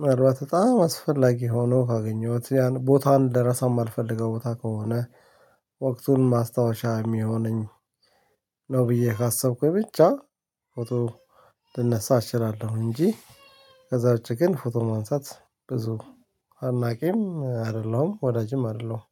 ምናልባት በጣም አስፈላጊ ሆኖ ካገኘሁት ያን ቦታ ልረሳው ማልፈልገው ቦታ ከሆነ ወቅቱን ማስታወሻ የሚሆነኝ ነው። ብዬ ካሰብኩኝ ብቻ ፎቶ ልነሳ እችላለሁ። እንጂ ከዛ ውጪ ግን ፎቶ ማንሳት ብዙ አድናቂም አይደለሁም ወዳጅም አይደለሁም